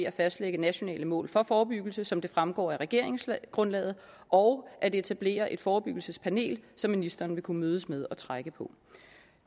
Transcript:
at fastlægge nationale mål for forebyggelse som det fremgår af regeringsgrundlaget og at etablere et forebyggelsespanel som ministeren vil kunne mødes med og trække på